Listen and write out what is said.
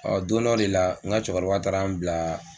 don dɔ de la n ka cɛkɔrɔba taara n bila